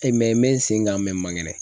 n bɛ sen kan n mankɛnɛ.